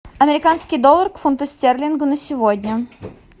американский доллар к фунту стерлинга на сегодня